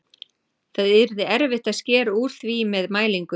Það yrði erfitt að skera úr því með mælingu.